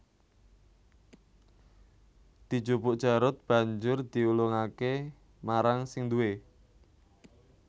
Dijupuk Jarot banjur diulungake marang sing duwé